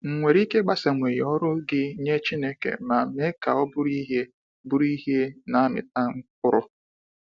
Ị̀nwere ike ịgbasawanye ọrụ gị nye Chineke ma mee ka ọ bụrụ ihe bụrụ ihe na amịta mkpụrụ?